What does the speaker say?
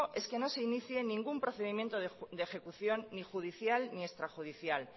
es que no se inicie ningún procedimiento de ejecución ni judicial ni extrajudicial